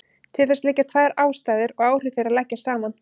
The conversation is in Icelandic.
Til þess liggja tvær ástæður og áhrif þeirra leggjast saman.